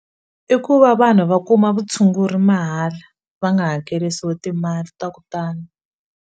I ku va vanhu va kuma vutshunguri mahala va nga hakelisiwi timali ta ku tala.